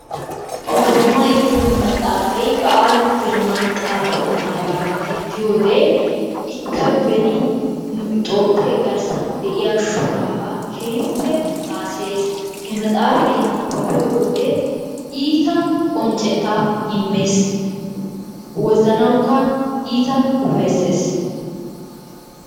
Oromay giyo matstsaafay bahilu girman xaafettaaga gidiyode ikka beni nu toophphee garssan de'iya shoraabaa keehippe haasayes. He maxxaafay nabbabbiyo wode iita qonccettaa immes. Wozanawukka iita ufayissees.